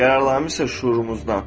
Qərarlarımız isə şüurumuzdan.